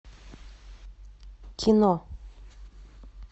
кино